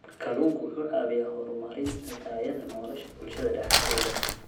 Kalluunku wuxuu caawiyaa horumarinta tayada nolosha bulshada dhexdeeda.